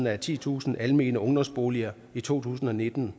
af titusind almene ungdomsboliger i to tusind og nitten